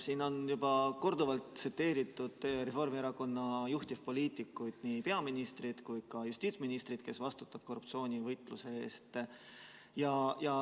Siin on juba korduvalt tsiteeritud Reformierakonna juhtivpoliitikuid, nii peaministrit kui ka justiitsministrit, kes vastutavad korruptsioonivastase võitluse eest.